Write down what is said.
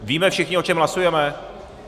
Víme všichni, o čem hlasujeme?